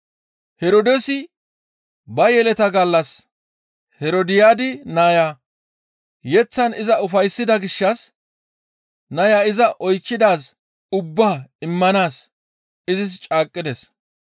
Herdoosi ba yeleta gallas Herodiyaadi naya yeththan iza ufayssida gishshas naya iza oychchidaaz ubbaa immanaas izis caaqqides.